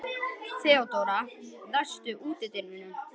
Theodóra, læstu útidyrunum.